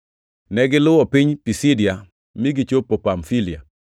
Negiluwo piny Pisidia mi gichopo Pamfilia,